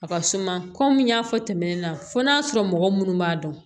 A ka suma kɔmi n y'a fɔ tɛmɛnen na fo n'a sɔrɔ mɔgɔ munnu b'a dɔn